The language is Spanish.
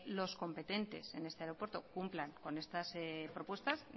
los competentes en este aeropuerto cumplan con estas propuestas